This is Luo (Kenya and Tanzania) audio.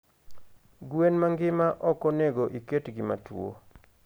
Gwen mangima okonego iket gi matuo